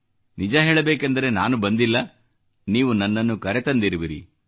ನಿಜ ಹೇಳಬೇಕೆಂದರೆ ನಾನು ಬಂದಿಲ್ಲ ನೀವು ನನ್ನನ್ನು ಕರೆತಂದಿರುವಿರಿ